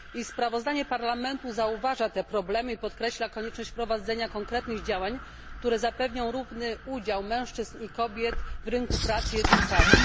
Sprawozdanie Parlamentu zauważa te problemy i podkreśla konieczność wprowadzenia konkretnych działań, które zapewnią równy udział mężczyzn i kobiet w rynku pracy i edukacji.